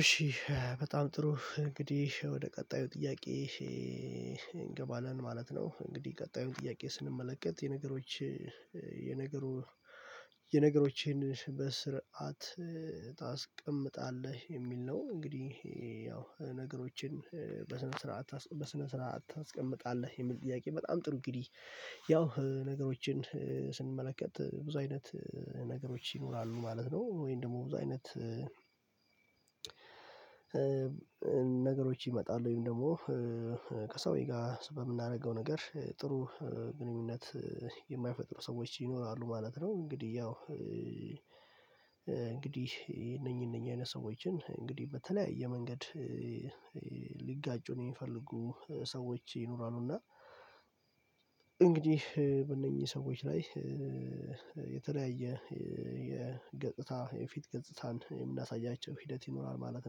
እሺ በጣም ጥሩ እንግዲህ ወደ ቀጣዩ ጥያቄ እንገባለን ማለት ነው። እንግዲህ ቀጣዩን ጥያቄ ስንመለከት የነገሮች የነገሩ የነገሮችን በስርዓት ታስቀምጣለህ የሚል ነው? እንግዲህ ያው ነገሮችን በስነ ስርዓት በስነ ስርዓት ታስቀምጣለህ የሚል ጥያቄ በጣም ጥሩ እንግዲህ ያው ነገሮችን ስንመለከት ብዙ አይነት ነገሮች ይኖራሉ ማለት ነው። ወይም ደግሞ ብዙ አይነት ነገሮች ይመጣል ወይም ደግሞ ከሰውዬ ጋር በምናደርገው ነገር ጥሩ ግንኙነት የማይፈጥሩ ሰዎች ይኖራሉ ማለት ነው። እንግዲህ ያው እንግዲህ እነኚህ እነኚህ አይነት ሰዎችን እንግዲህ በተለያየ መንገድ ነው የሚፈልጉ ሰዎች ይኖራሉ እና እንግዲህ በእነኚህ ሰዎች ላይ የተለያየ የገጽታ የፊት ገጽታን የምናሳያቸው ሂደት ይኖራል ማለት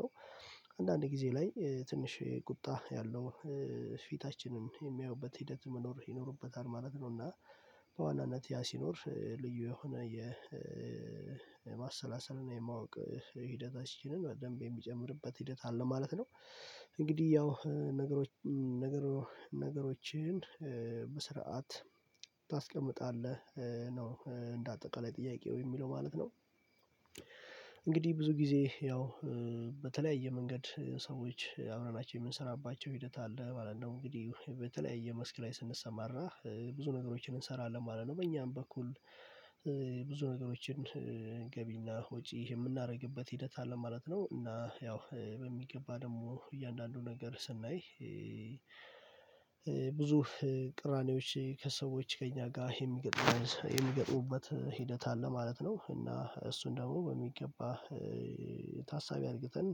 ነው። አንዳንድ ጊዜ ላይ ትንሽ ቁጣ ያለው ፊታችንን የሚያዩበት ሂደት መኖር ይኖርበታል ማለት ነው። እና በዋናነት ያ ሲኖር ልዩ የሆነ የማሰላሰል እና የማወቅ ሂደታችንን በደንብ የሚጨምርበት ሂደት አለ ማለት ነው። እንግዲህ ያው ነገሮችን በስርዓት ታስቀምጣለህ ነው እንደ አጠቃላይ ጥያቄው የሚለው ማለት ነው። እንግዲህ ብዙ ጊዜ ያው በተለያየ መንገድ ሰዎች አብረናቸው የምንሰራባቸው ሂደት አለ ማለት ነው እንግዲህ በተለያየ መስክ ላይ ስንሰማር ነው ብዙ ነገሮችን እንሰራለን ማለት ነው በእኛም በኩል ብዙ ነገሮችን ገቢና ወጪ የምናደርግበት ሂደት አለ ማለት ነው። እና ያው በሚገባ ደግሞ እያንዳንዱ ነገር ስናይ ብዙ ቅራኔዎች ከሰዎች ከእኛ ጋር የሚገጥሙበት ሂደት አለ ማለት ነው። እና እሱን ደግሞ በሚገባ ታሳቢ አድርገን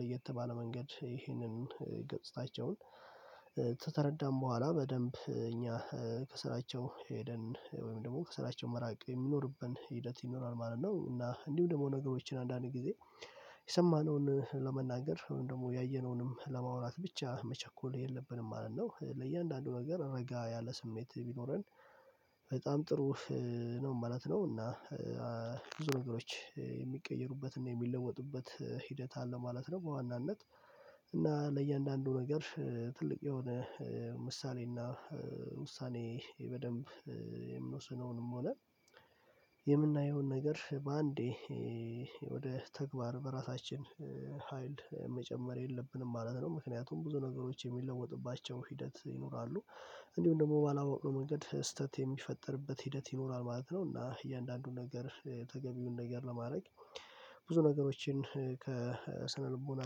ለየት ባለ መንገድ ይህንን ገጽታቸውን ተረዳን በኋላ በደንብ እኛ ከስራቸው ሄደን ወይም ደግሞ ከስራቸው መራቅ የሚኖርብን ሂደት ይኖራል ማለት ነው። እና እንዲሁ ደግሞ ነገሮችን አንዳንዴ ጊዜ የሰማነውን ለመናገር ደግሞ ያየነውንም ለማውራት ብቻ መቸኮል የለብንም ማለት ነው። ለእያንዳንዱ ነገር ረጋ ያለ ስሜት ቢኖረን በጣም ጥሩ ነው ማለት ነው። እና ብዙ ነገሮች የሚቀየሩበት እና የሚለወጡበት ሂደት አለ ማለት ነው። በዋናነት እና ለእያንዳንዱ ነገር ትልቅ የሆነ ምሳሌ እና ውሳኔ በደንብ የምንወስነውንም ሆነ የምናየውን ነገር በአንዴ ወደ ተግባር በራሳችን ሀይል መጨመር የለብንም ማለት ነው። ምክንያቱም ብዙ ነገሮች የሚለወጥባቸው ሂደት ይኖራሉ እንዲሁም ደግሞ ባላወቅነው መንገድ ስህተት የሚፈጥርበት ሂደት ይኖራል ማለት ነው። እና እያንዳንዱን ነገር ተገቢውን ነገር ለማድረግ ብዙ ነገሮችን ከስነልቦና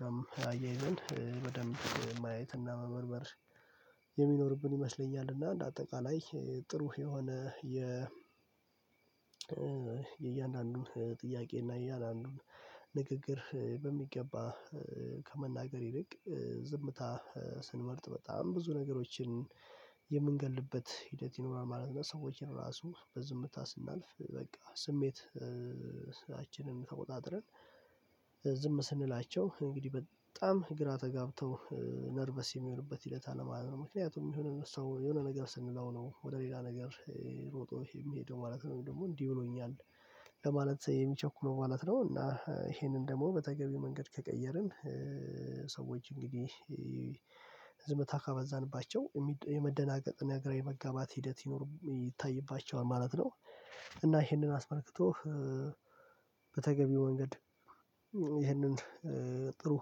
ጋርም አያይዘን በደንብ ማየትና መመርመር የሚኖርብን ይመስለኛል። እና እንደ አጠቃላይ ጥሩ የሆነ የ የእያንዳንዱ ጥያቄ እና እያ አንዱን ንግግር በሚገባ ከመናገር ይልቅ ዝምታ ስንመርጥ በጣም ብዙ ነገሮችን የምንገድልበት ሂደት ይኖራል ማለት ነው። ሰዎችን ራሱ በዝምታ ስናልፍ በቃ ስሜት ስራችንን ተቆጣጥረን ዝም ስንላቸው እንግዲህ በጣም ግራ ተጋብተው ነርቨስ የሚሆንበት ሂደት አለማለት ነው። ምክንያቱም የሆነ ሰው የሆነ ነገር ስንለው ነው ወደ ሌላ ነገር ሮጦ የሚሄደው ማለት ነው። ወይም ደግሞ እንዲህ ብሎኛል ለማለት የሚቸኩለው ማለት ነው። እና ይሄንን ደግሞ በተገቢ መንገድ ከቀየርን ሰዎች እንግዲህ ዝምታ ካበዛንባቸው የመደናገጥ እና ግራ የመጋባት ሂደት ይኖር ይታይባቸዋል ማለት ነው። እና ይሄንን አስመልክቶ በተገቢው መንገድ ይሄንን ጥሩ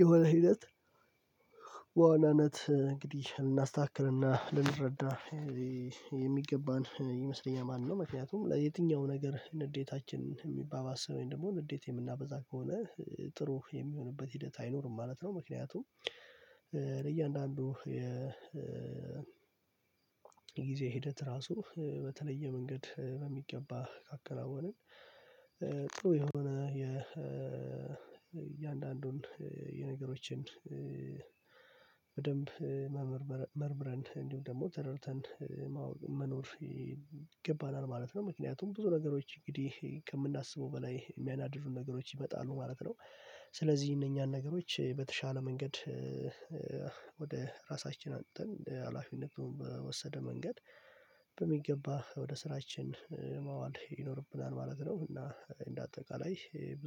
የሆነ ሂደት በዋናነት እንግዲህ ልናስተካክልና ልንረዳ የሚገባን ይመስለኛል ማለት ነው። ምክንያቱም የትኛው ነገር ንዴታችንን የሚባባስ ወይም ደግሞ ንዴት የምናበዛ ከሆነ ጥሩ የሚሆንበት ሂደት አይኖርም ማለት ነው። ምክንያቱም ለእያንዳንዱ የ ጊዜ ሂደት ራሱ በተለየ መንገድ በሚገባ ካከናወንን ጥሩ የሆነ የ እያንዳንዱን የነገሮችን በደንብ መመርመር መርምረን እንዲሁ ደግሞ ተረድተን መኖር ይገባናል ማለት ነው። ምክንያቱም ብዙ ነገሮች እንግዲህ ከምናስበው በላይ የሚያናድዱን ነገሮች ይመጣሉ ማለት ነው። ስለዚህ እነኛን ነገሮች በተሻለ መንገድ ወደ ራሳችን አምጥተን ሀላፊነቱን በወሰደ መንገድ በሚገባ ወደ ስራችን ማዋል ይኖርብናል ማለት ነው። እና እንደ አጠቃላይ ብዙ